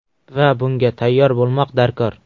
Va bunga tayyor bo‘lmoq darkor.